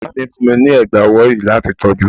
Màmá mi fún mi ní ẹ̀gbá ọwọ́ yìí láti tọ́jú.